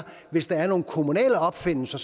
hvis der er nogle kommunale opfindelser